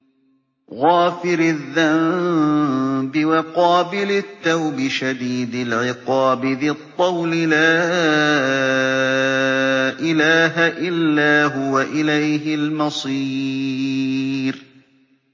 غَافِرِ الذَّنبِ وَقَابِلِ التَّوْبِ شَدِيدِ الْعِقَابِ ذِي الطَّوْلِ ۖ لَا إِلَٰهَ إِلَّا هُوَ ۖ إِلَيْهِ الْمَصِيرُ